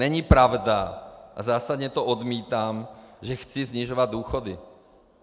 Není pravda, a zásadně to odmítám, že chci snižovat důchody.